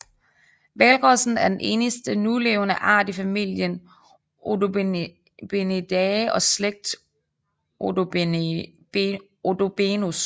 Hvalrossen er den eneste nulevende art i familien Odobenidae og slægt Odobenus